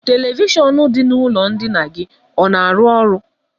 Televishọnụ dị n'ụlọ ndina gị ọ na-arụ ọrụ?